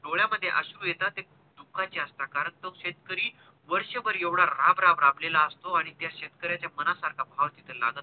डोळ्या मध्ये अश्रु येतात ते दुःखा चे असतात कारण तो शेतकरी वर्ष भर एवढा राबराब राबलेला असतो आणि त्या शेतकऱ्याच्या मनासारखा भाव तिथे लागत नाही.